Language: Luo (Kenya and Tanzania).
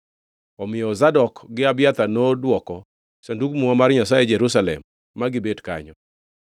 Omiyo Zadok gi Abiathar nodwoko Sandug Muma mar Nyasaye Jerusalem ma gibet kanyo.”